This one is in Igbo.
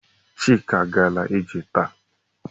Chika gara ije taa.